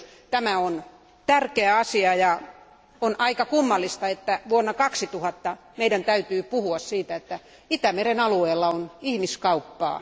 Tämä on tärkeä asia, ja on aika kummallista, että vuonna 2009 meidän täytyy puhua siitä, että Itämeren alueella on ihmiskauppaa.